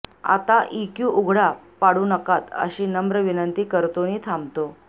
आता इक्यू उघडा पाडू नकात अशी नम्र विनंती करतो नि थांबतो